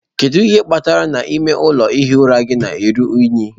Kedu ihe kpatara ime ụlọ ihi ụra gị ji ruo unyi?